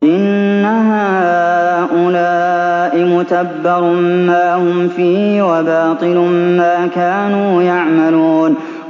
إِنَّ هَٰؤُلَاءِ مُتَبَّرٌ مَّا هُمْ فِيهِ وَبَاطِلٌ مَّا كَانُوا يَعْمَلُونَ